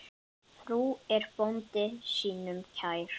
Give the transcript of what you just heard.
Frú er bónda sínum kær.